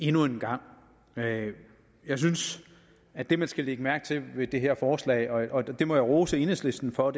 endnu en gang jeg jeg synes at det man skal lægge mærke til ved det her forslag og det må jeg rose enhedslisten for